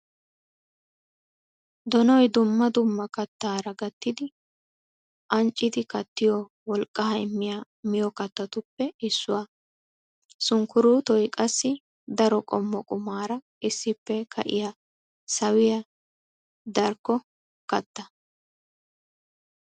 Donnoy dumma dumma kattara gatiddi ancciddi kattiyo wolqqa immiya miyo kattatuppe issuwa. Sunkkurottoy qassi daro qommo qumara issippe ka'iya sawiya darkki gatta.